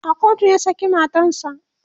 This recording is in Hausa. a kotu ya saki matansa